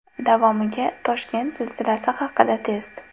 Davomiga Toshkent zilzilasi haqida test .